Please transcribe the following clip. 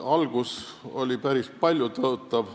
Algus oli päris paljutõotav.